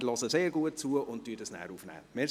Wir hören sehr gut zu und nehmen das dann auch auf.